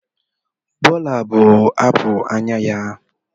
Bola bụ apụl anya ya.